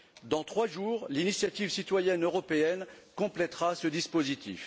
Dans trois jours, l'initiative citoyenne européenne complètera ce dispositif.